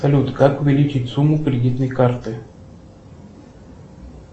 салют как увеличить сумму кредитной карты